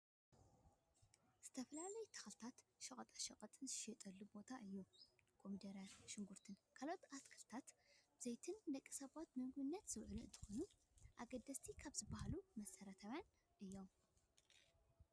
ዝተፈላለዩ ተክልታትን ሸቀጣ ሸቀጥን ዝሽየጠሉ ቦታ እዩ። ኮሚደረን ሽጉርትን ካልኦት ኣትክልትን ዘይትን ንደቂ ሰባት ንምግብነት ዝውዕሉ እንትኮኑ፣ ኣገደስቲ ካብ ዝባሃሉ መሰረታውያን እዮም።